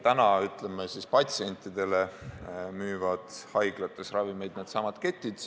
Patsientidele müüvad haiglates ravimeid needsamad ketid.